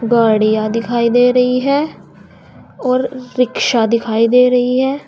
गाड़िया दिखाई दे रही हैं और रिक्शा दिखाई दे रही है।